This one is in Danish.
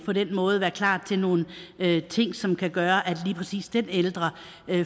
på den måde være klar til nogle ting som kan gøre at lige præcis den her ældre